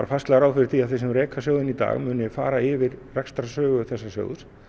fastlega ráð fyrir því að þeir sem reka sjóðinn í dag muni fara yfir rekstrarsögu þessa sjóðs